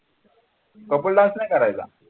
couple dance नाही करायचा